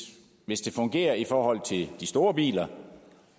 hvis det fungerer i forhold til de store biler